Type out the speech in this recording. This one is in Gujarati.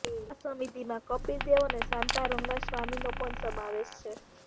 આ સમિતિમાં કપિલ દેવ અને શાંતા રંગાસ્વામીનો પણ સમાવેશ છે